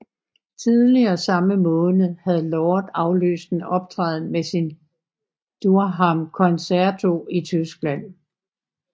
Tidligere samme måned havde Lord aflyst en optræden med sin Durham Concerto i Tyskland